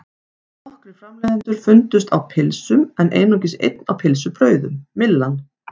Nokkrir framleiðendur fundust á pylsum en einungis einn á pylsubrauðum, Myllan.